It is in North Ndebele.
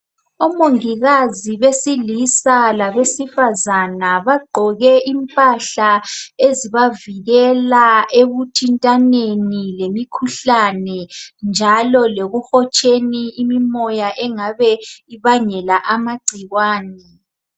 Omongikazi besilisa labesifazana, bagqoke impahla ezibavikela ekuthintaneni lemikhuhlane njalo lokuhotsheni imimoya engabe ibangela amagcikwane.